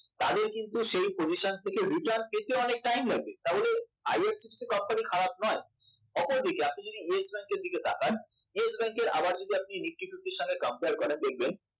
তাদের কিন্তু সেই position থেকে return পেতে অনেক time লাগবে তা বলে IRCTC company খারাপ নয় অপরদিকে আপনি যদি Yes Bank এর দিকে তাকান Yes Bank এর আবার যদি nifty fifty সঙ্গে compare করেন দেখবেন